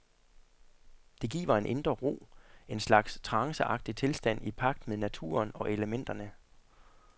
Det giver en indre ro, en slags tranceagtig tilstand i pagt med naturen og elementerne.